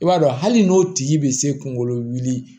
I b'a dɔn hali n'o tigi bɛ se kungolo wuli